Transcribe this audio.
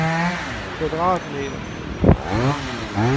kvadratmeter